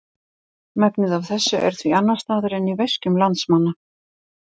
Megnið af þessu er því annars staðar en í veskjum landsmanna.